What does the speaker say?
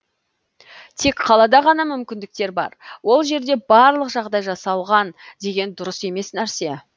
тек қалада ғана мүмкіндіктер бар ол жерде барлық жағдай жасалған деген дұрыс емес нәрсе